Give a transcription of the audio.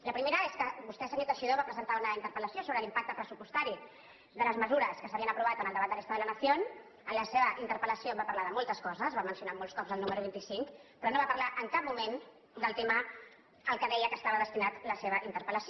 la primera és que vostè senyor teixidó va presentar una interpel·lació sobre l’impacte pressupostari de les mesures que s’havien aprovat en el debat del estado de la nación en la seva interpel·lació va parlar de moltes coses va mencionar molts cops el número vint i cinc però no va parlar en cap moment del tema al que deia que estava destinat la seva interpel·lació